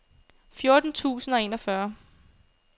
fjorten tusind og enogfyrre